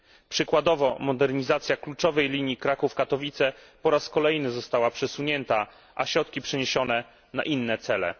Przykładowo, modernizacja kluczowej linii Kraków Katowice po raz kolejny została przesunięta, a środki przeniesione na inne cele.